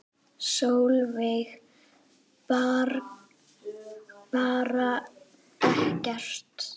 Sólveig: Bara ekkert?